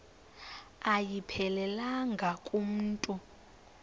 ayiphelelanga ku mntu